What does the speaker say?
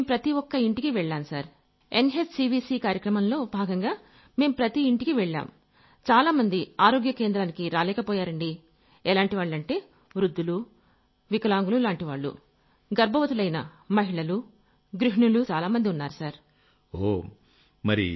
మేం ప్రతి ఒక్క ఇంటికీ వెళ్లాం సర్ |NHCVC కార్యక్రమంలో భాగంగా మేం ప్రతి ఇంటికీ వెళ్లాం | చాలామంది ఆరోగ్య కేంద్రానికి రాలేకపోయారండీ ఎలాంటివాళ్లంటే వృద్ధులు వికలాంగులులాంటి వాళ్లు గర్భవతులైన మహిళలు గృహిణులు చాలామంది |